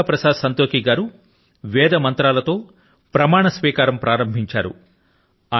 శ్రీ చంద్రికా ప్రసాద్ సంతోఖీ గారు వేద మంత్రాల తో ప్రమాణ స్వీకారం ప్రారంభించారు